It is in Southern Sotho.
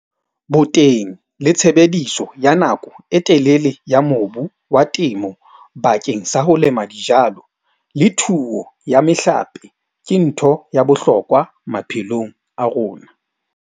Boteng le tshebediso ya nako e telele ya mobu wa temo bakeng sa ho lema dijalo le thuo ya mehlape ke ntho ya bohlokwa maphelong a rona.